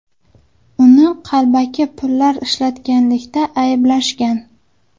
Uni qalbaki pullar ishlatganlikda ayblashgan.